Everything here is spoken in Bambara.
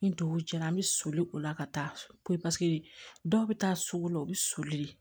Ni dugu jɛra an bɛ soli o la ka taa so ko paseke dɔw bɛ taa sugu la u bɛ soli